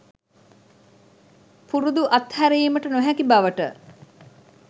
පුරුදු අත් හැරීමට නොහැකි බවට